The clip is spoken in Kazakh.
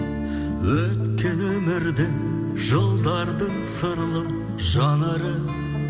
өткені өмірдің жылдардың сырлы жанары